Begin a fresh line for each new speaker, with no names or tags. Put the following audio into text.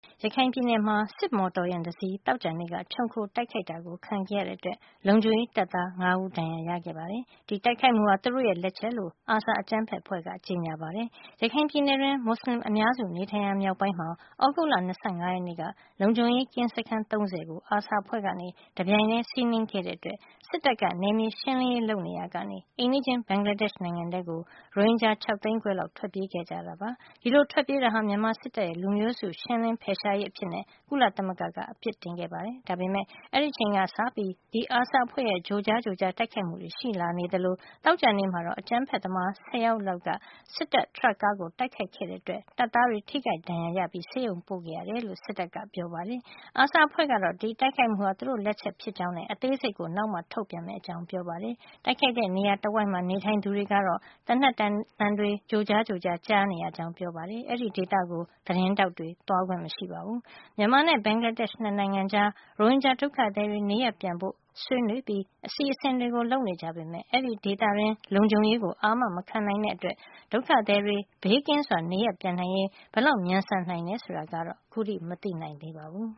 ရခိုင်ပြည်နယ်မှာ စစ်မော်တော်ယာဉ်တစီး သောကြာနေ့က ခြုံခို တိုက်ခိုက်တာ ခံခဲ့ရတဲ့အတွက် လုံခြုံရေး တပ်သား ၅ ဦး ဒဏ်ရာရခဲ့ပြီး ဒီတိုက်ခိုက်မှုဟာ သူတို့လက်ချက်လို့ ARSA အကြမ်းဖက်အဖွဲ့က ကြေညာပါ တယ်။ ရခိုင်ပြည်နယ်တွင်း မွတ်ဆလင်အများစုနေထိုင်ရာ မြောက်ပိုင်းမှာ သြဂုတ်လ ၂၅ ရက်က လုံခြုံရေးကင်းစခန်း ၃၀ ကို ARSA အဖွဲ့က တပြိုင်ထဲစီးနင်းတိုက်ခိုက်တဲ့အတွက် စစ်တပ်က နယ်မြေရှင်းလင်းရေး လုပ်ရာကနေ အိမ်နီးချင်း ဘင်္ဂလားဒေ့ရှ်နိုင်ငံထဲကို ရိုဟင်ဂျာ ၆ သိန်းခွဲလောက် ထွက်ပြေးခဲ့ကြပါတယ်။ ဒီလိုထွက်ပြေးတာဟာ မြန်မာစစ်တပ်ရဲ့ လူမျိုးစုလိုက် ရှင်းလင်းဖယ်ရှားရေးလုပ်ရပ်အဖြစ် ကုလသမဂ္ဂက အပြစ်တင်ထားပါတယ်။ ဒါပေမယ့် အဲဒီအချိန်ကစပြီး ဒီ ARSA အဖွဲ့ရဲ့ ကြိုကြားကြိုကြား တိုက်ခိုက်မှုတွေ ရှိနေသလို သောကြာနေ့မှာတော့ အကြမ်းဖက်သမား ၁၀ ယောက်လောက်က စစ်တပ် ထရပ်ကားကို တိုက်ခိုက်ခဲ့တဲ့အတွက် တပ်သားတွေ ထိခိုက်ဒဏ်ရာရခဲ့ကြောင်း စစ်တပ်ကပြောပါတယ်။ ARSA အဖွဲ့ကတော့ ဒီတိုက်ခိုက်မှုဟာ သူတို့လက်ချက်ဖြစ်ကြောင်းနဲ့ အသေးစိတ်ကို နောက်မှ ထုတ်ပြန်မယ့် အကြောင်းပြောပါတယ်။ တိုက်ခိုက်တဲ့နေရာတဝိုက်မှာ နေထိုင်သူတွေကတော့ သေနတ်သံတွေ ကြိုကြားကြိုကြား ကြားနေရကြောင်း ပြောပါတယ်။ အဲဒီဒေသကိုသတင်းထောက်တွေ သွားခွင့်မရှိပါဘူး။ မြန်မာနဲ့ ဘင်္ဂလားဒေ့ရှ် နှစ်နိုင်ငံကြား ရိုဟင်ဂျာဒုက္ခသည်တွေ နေရပ်ပြန်ဖို့ ဆွေးနွေးပြီး အစီစဉ်တွေ လုပ်နေကြ ပေမယ့် အဲဒီဒေသတွင်း လုံခြုံရေးကို အာမမခံနိုင်တဲ့အတွက် ဒုက္ခသည်တွေ ဘေးကင်းစွာ နေရပ်ပြန်နိုင်ရေး ဘယ်လောက် မြန်ဆန်နိုင်တယ်ဆိုတာကတော့ မသိနိုင်သေးပါဘူး